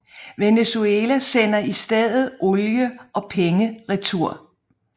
Venezuela sender i stedet olie og penge retur